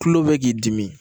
Kulo bɛ k'i dimi